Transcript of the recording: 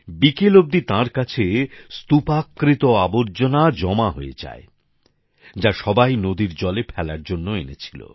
বিকেল অব্দি তাঁর কাছে স্তুপাকৃত আবর্জনার জমা হয়ে যায় যা সবাই নদীর জলে ফেলার জন্য এনেছিল